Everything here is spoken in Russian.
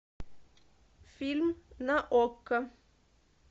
фильм на окко